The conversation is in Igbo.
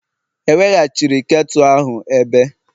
eweghachiri ketu ahụ ebe?